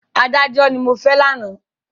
Adájọ́ ni mo fẹ́ lánàá.